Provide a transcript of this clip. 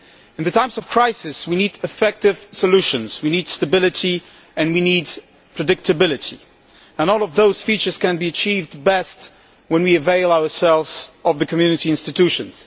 In times of crisis, we need effective solutions, stability and predictability, and all these features can be achieved best when we avail ourselves of the Community institutions.